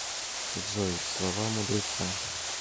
джой слова мудреца